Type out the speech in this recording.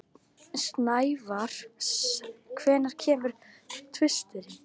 Snævar, hvenær kemur tvisturinn?